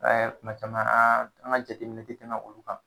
Aa tuma caman an an ka jateminɛ tɛ tɛna olu kan